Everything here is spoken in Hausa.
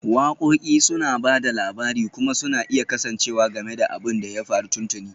Waƙoƙi suna ba da labari kuma suna iya kasancewa game da abin da ya faru tuntuni